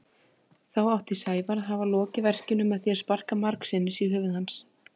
Þá átti Sævar að hafa lokið verkinu með því að sparka margsinnis í höfuð hans.